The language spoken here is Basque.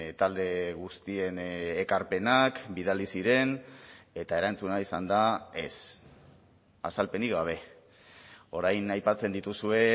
talde guztien ekarpenak bidali ziren eta erantzuna izan da ez azalpenik gabe orain aipatzen dituzue